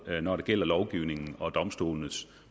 når det gælder lovgivningen og domstolenes